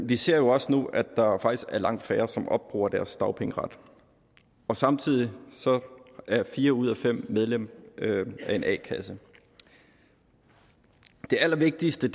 vi ser jo også nu at der faktisk er langt færre som opbruger deres dagpengeret og samtidig er fire ud af fem medlem af en a kasse det allervigtigste